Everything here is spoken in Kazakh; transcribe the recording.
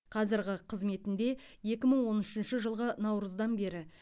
қазірғы қызметінде екі мың он үшінші жылғы наурыздан бері